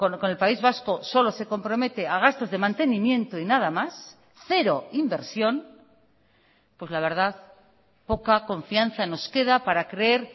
con el país vasco solo se compromete a gastos de mantenimiento y nada más cero inversión pues la verdad poca confianza nos queda para creer